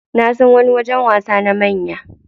Nasan wani wajen wasa na manya.